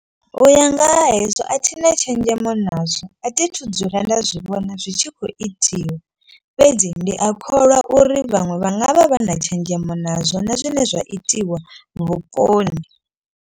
U ya nga ha hezwo a thina tshenzhemo nazwo. A thi thu dzula nda zwi vhona zwi tshi khou itiwa. Fhedzi ndi a kholwa uri vhaṅwe vha nga vha vha na tshenzhemo nazwo na zwine zwa itiwa vhuponi.